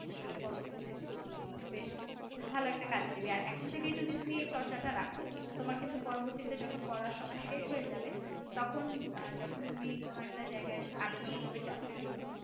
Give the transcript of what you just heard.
আসলে পরবর্তীতে খুব বেশ ভালো একটা কাজ দেবে। আর এখন থেকেই তুমি এই চর্চাটা রাখ তোমার কিন্তু পরবর্তীতে যখন পড়াশোনা শেষ হয়ে যাবে তখন যখন তুমি কোন একটা জায়গায় আবেদন করবে চাকরির জন্য